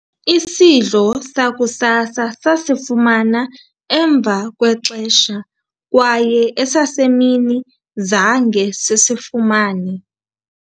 isidlo sakusasa sasifumana emva kwexesha kwaye esasemini zange sisifumane